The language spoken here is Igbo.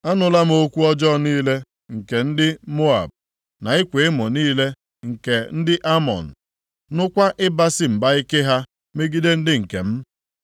“Anụla m okwu ọjọọ niile, nke ndị Moab, na ịkwa emo niile nke ndị Amọn, nụkwa ịbasị mba ike ha megide ndị nke m na-anya isi na ha ga-ewere ala ha.